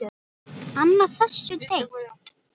Annað þessu tengt.